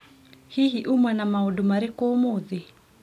Hihi, uma na maũndũ marikũ ũmũthĩ?